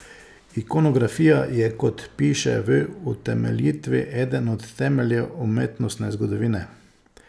Ikonografija je, kot piše v utemeljitvi, eden od temeljev umetnostne zgodovine.